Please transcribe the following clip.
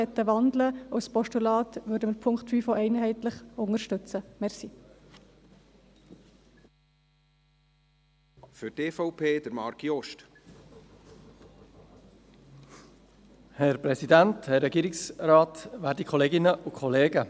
Falls die Motionäre den Punkt 5 in ein Postulat wandeln möchten, würden wir den Punkt 5 auch einheitlich unterstützen.